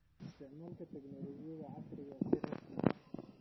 Isticmaalka Tignoolajiyada Cagaaran si rasmi ah.